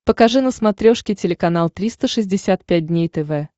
покажи на смотрешке телеканал триста шестьдесят пять дней тв